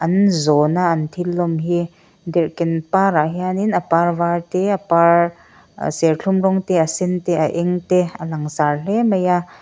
an zawn a an thil lawm hi derhken par ah hianin a par var te a par serthlum rawng te a sen te a eng te a langsar hle mai a--